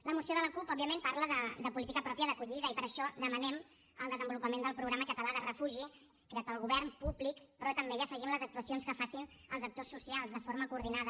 la moció de la cup òbviament parla de política pròpia d’acollida i per això demanem el desenvolupament del programa català de refugi creat pel govern públic però també hi afegim les actuacions que facin els actors socials de forma coordinada